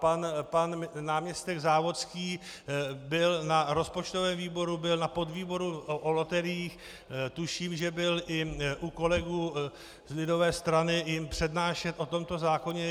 Pan náměstek Závodský byl na rozpočtovém výboru, byl na podvýboru o loteriích, tuším, že byl i u kolegů z lidové strany jim přednášet o tomto zákoně.